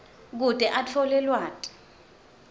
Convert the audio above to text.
kute atfole lwati